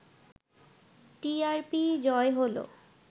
টিআরপিই জয় হলো